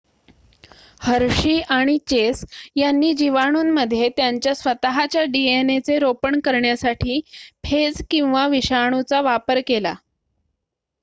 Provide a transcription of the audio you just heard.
हर्षी आणि चेस यांनी जीवाणूंमध्ये त्यांच्या स्वतःच्या डीएनएचे रोपण करण्यासाठी फेज किंवा विषाणूचा वापर केला